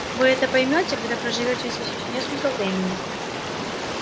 вы это поймёте когда проживёте здесь ещё несколько времени